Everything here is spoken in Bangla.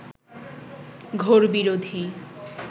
ঘোর বিরোধী